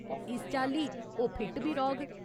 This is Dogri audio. इस चाल्ली, ओह् फिट बी रौह्ग ।